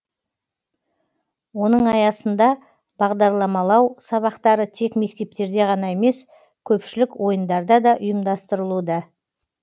оның аясында бағдарламалау сабақтары тек мектептерде ғана емес көпшілік ойындарда да ұйымдастырылуда